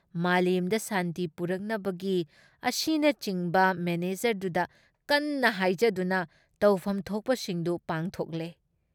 ꯃꯥꯂꯦꯝꯗ ꯁꯥꯟꯇꯤ ꯄꯨꯔꯛꯅꯕꯒꯤ ꯑꯁꯤꯅꯆꯤꯡꯕ ꯃꯦꯅꯦꯖꯔꯗꯨꯗ ꯀꯟꯅ ꯍꯥꯏꯖꯗꯨꯅ ꯇꯧꯐꯝ ꯊꯣꯛꯄꯁꯤꯡꯗꯨ ꯄꯥꯡꯊꯣꯛꯂꯦ ꯫